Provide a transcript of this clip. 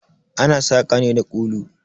Ana saƙa ne da kulu.